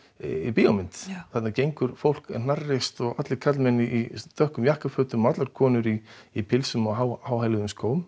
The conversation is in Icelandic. bíómyndar þarna gengur fólk hnarreist allir karlar í dökkum jakkafötum og konur í í pilsum og háhæluðum skóm